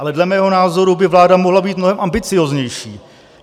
Ale dle mého názoru by vláda mohla být mnohem ambicióznější.